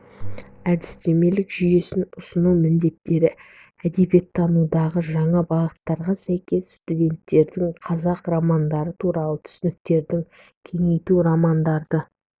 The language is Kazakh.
әдістемелік жүйесін ұсыну міндеттері әдебиеттанудағы жаңа бағыттарға сәйкес студенттердің қазақ романдары туралы түсініктерін кеңейту романдарды